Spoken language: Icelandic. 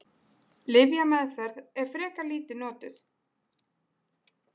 Lyfjameðferð er frekar lítið notuð.